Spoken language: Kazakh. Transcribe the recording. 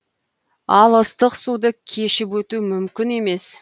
ал ыстық суды кешіп өту мүмкін емес